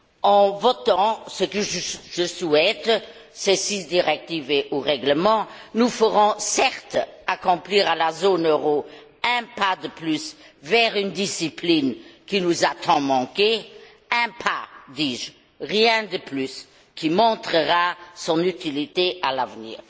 En votant ce que je souhaite ces six directives et ou règlements, nous ferons certes accomplir à la zone euro un pas de plus vers une discipline qui nous a tant manqué, un pas, dis je, rien de plus, qui montrera son utilité à l'avenir.